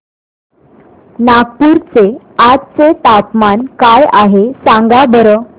नागपूर चे आज चे तापमान काय आहे सांगा बरं